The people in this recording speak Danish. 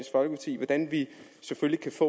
stat